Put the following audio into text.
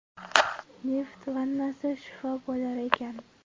Neft vannasi shifo bo‘lar ekan.